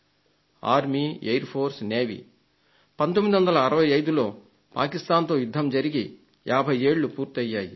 1965లో పాకిస్తాన్ తో యుద్ధం జరిగి 50 ఏళ్లు పూర్తయ్యాయి